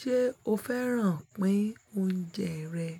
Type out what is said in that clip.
Ṣé o fẹ́ràn pín oúnjẹ rẹ̀?